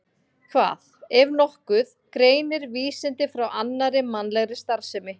Hvað, ef nokkuð, greinir vísindi frá annarri mannlegri starfsemi?